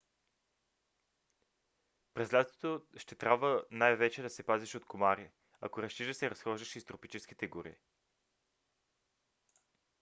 през лятото ще трябва най-вече да се пазиш от комари ако решиш да се разхождаш из тропическите гори